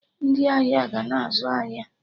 Ndị ahịa ga na-azụ ahịa